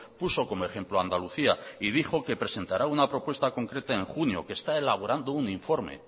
puso como ejemplo andalucía y dijo que presentará una propuesta concreta en junio que está elaborando un informe